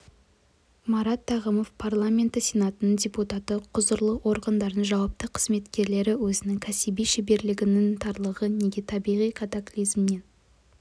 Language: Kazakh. марат тағымов парламенті сенатының депутаты құзырлы органдардың жауапты қызметкерлері өзінің кәсіби шеберлігінің тарлығын неге табиғи катаклизммен